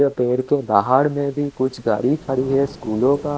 पेर के बाहर में भी कुछ गाडी खड़ी है स्कूलो का--